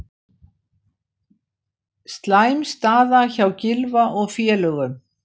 Slæm staða hjá Gylfa og félögum